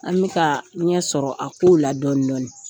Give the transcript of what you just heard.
An bi ka ɲɛ sɔrɔ kow la dɔɔni dɔɔni.